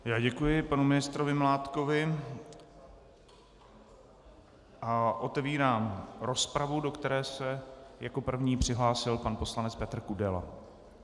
Já děkuji panu ministrovi Mládkovi a otevírám rozpravu, do které se jako první přihlásil pan poslanec Petr Kudela.